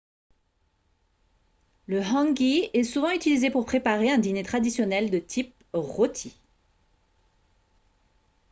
le hangi est souvent utilisé pour préparer un dîner traditionnel de type rôti